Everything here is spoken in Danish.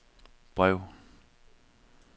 brev